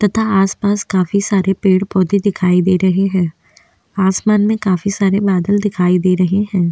तथा आसपास काफी सारे पेड़-पौधे दिखाई दे रहे है आसमान में काफी सरे बादल दिखाई दे रहे है।